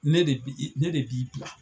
Ne de bi i ne de b'i bila.